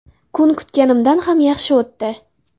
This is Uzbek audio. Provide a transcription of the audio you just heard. Kun kutganimdan ham yaxshi o‘tdi.